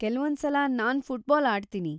ಕೆಲ್ವೊಂದ್ಸಲ ನಾನ್‌ ಫುಟ್ಬಾಲ್‌ ಆಡ್ತೀನಿ.